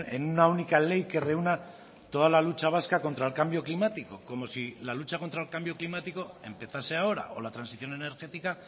en una única ley que reúna toda la lucha vasca contra el cambio climático como si la lucha contra el cambio climático empezase ahora o la transición energética